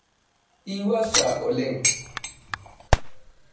Iwuasa oleng.